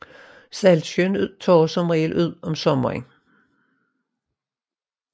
Saltsøen tørrer som regel ud om sommeren